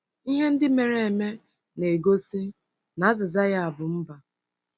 Ihe ndị mere eme na-egosi na azịza ya bụ mbà.